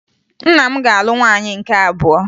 Nna m ga-alụ nwaanyị nke abụọ